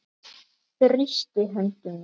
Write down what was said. Þrýstir hönd mína.